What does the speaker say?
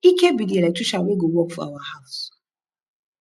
ike be the electrician wey go work for our house